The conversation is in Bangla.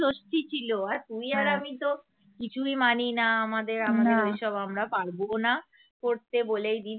ষষ্ঠী ছিল আর তুই আর আমি তো কিছুই মানি না আমাদের আমরা এইসব আমরা পারবও না করতে বলেই দিছি